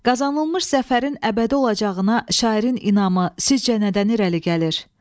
Qazanılmış zəfərin əbədi olacağına şairin inamı sizcə nədən irəli gəlir?